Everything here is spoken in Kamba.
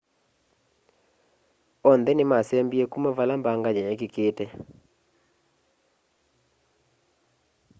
onthe nimasembie kuma vala mbanga yeekikite